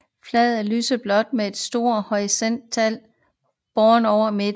Flaget er lyseblåt med et sort horisontalt bånd over midten